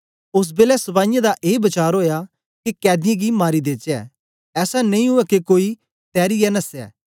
ओस बेलै सपाईयें दा ए वचार ओया के कैदीयें गी मारी देचै ऐसा नेई ऊऐ के कोई तैरीयै नसे